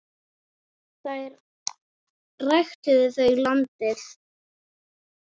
Þar ræktuðu þau landið.